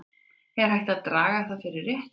Er hægt að draga það fyrir rétt?